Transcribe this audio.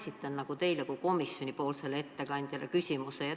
Ma esitan küsimuse teile kui komisjoni ettekandjale.